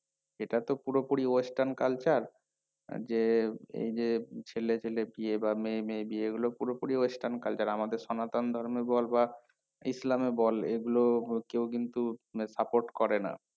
এটাতো পুরোপুরি western culture যে এই যে ছেলে ছেলে বিয়ে বা মেয়ে মেয়ে বিয়ে এইগুলো পুরোপুরি western culture আমাদের সনাতন ধর্মে বল বা ইসলামে বল এইগুলো কেউ কিন্তু support করে না